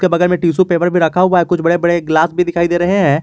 बगल में tissue paper पर रखा हुआ है कुछ बड़े बड़े गिलास भी दिखाइए दे रहे हैं।